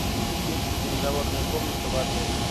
есть ли переговорная комната в отеле